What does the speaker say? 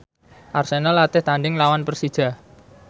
Arsenal latih tandhing nglawan Persija